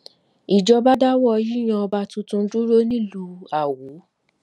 ìjọba dáwọ yíyan ọba tuntun dúró nílùú awo